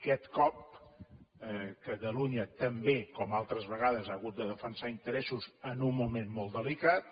aquest cop catalunya també com altres vegades ha hagut de defensar interessos en un moment molt delicat